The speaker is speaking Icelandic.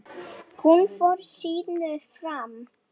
Hún fór sínu fram.